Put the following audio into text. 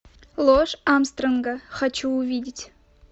ложь армстронга хочу увидеть